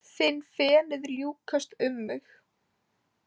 Finn fenið ljúkast um mig.